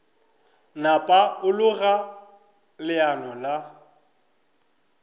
napa a loga leano le